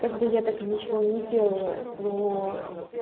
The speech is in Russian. как бы я так и ничего и не сделала но